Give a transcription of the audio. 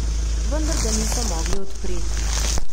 Vendar ga niso mogli odpreti.